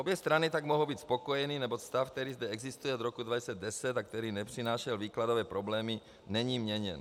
Obě strany tak mohou být spokojeny, neboť stav, který zde existuje od roku 2010, a který nepřinášel výkladové problémy, není měněn.